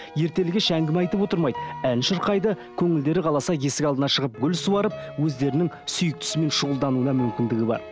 ертелі кеш әңгіме айтып отырмайды ән шырқайды көңілдері қаласа есік алдына шығып гүл суарып өздерінің сүйіктісімен шұғылдануына мүмкіндігі бар